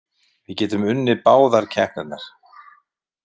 Við getum unnið báðar keppnirnar.